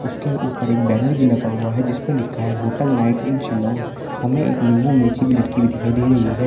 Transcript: उसके ऊपर एक बैनर भी लगा हुआ है जिस पे लिखा है होटल नाइट इन शिलौंग हमें एक नींबू मिर्ची भी लटकी हुई दिखाई दे रही है।